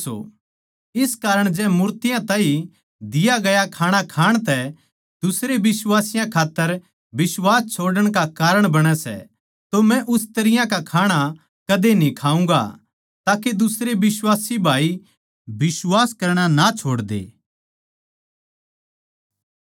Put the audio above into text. इस कारण जै मूर्तियाँ ताहीं दिया गया खाणा खाण तै दुसरे बिश्वासियाँ खात्तर बिश्वास छोड़ण का कारण बणै सै तो मै उस तरियां का खाणा कदे न्ही खाऊँगा ताके दुसरे बिश्वासी भाई बिश्वास करणा ना छोड़ दे